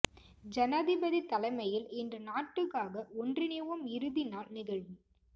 ஜனாதிபதி தலைமையில் இன்று நாட்டுக்காக ஒன்றிணைவோம் இறுதிநாள் நிகழ்வு